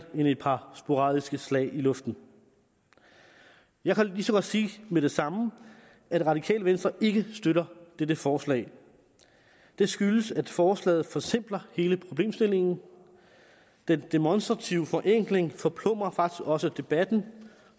end et par sporadiske slag i luften jeg kan lige så godt sige med det samme at radikale venstre ikke støtter dette forslag det skyldes at forslaget forsimpler hele problemstillingen den demonstrative forenkling forplumrer faktisk også debatten